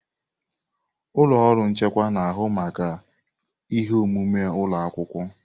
Ụlọ ọrụ nchịkwa na-ahụ maka ihe omume ụlọ akwụkwọ.